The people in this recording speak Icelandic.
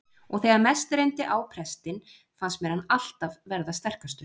Og þegar mest reyndi á prestinn fannst mér hann alltaf verða sterkastur.